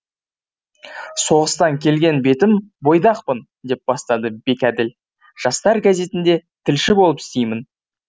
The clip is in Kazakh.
соғыстан келген бетім бойдақпын деп бастады бекәділ жастар газетінде тілші болып істеймін